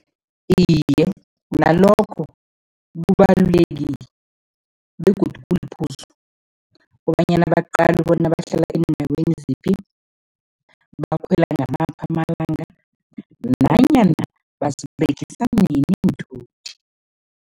Iye, nalokho kubalulekile begodu kuliphuzu kobanyana baqale bona bahlala eendaweni ziphi, bakhwela ngamaphi amalanga nanyana baziberegisa nini iinthuthi.